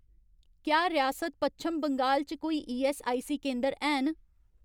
क्या रियासत पच्छम बंगाल च कोई ईऐस्सआईसी केंदर हैन